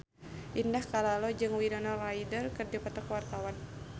Indah Kalalo jeung Winona Ryder keur dipoto ku wartawan